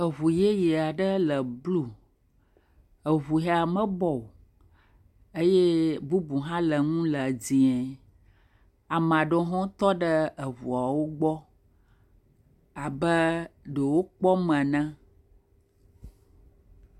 eʋu yɛyɛaɖe le blu eʋu ya mebɔo eye bubu hã le ŋu le dzĩe amaɖewo tɔɖe ʋuɔwo gbɔ abe ɖewo kpɔm ene